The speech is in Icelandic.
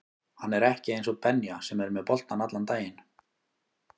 Hann er ekki eins og Benja sem er með boltann allan daginn